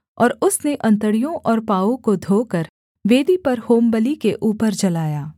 और उसने अंतड़ियों और पाँवों को धोकर वेदी पर होमबलि के ऊपर जलाया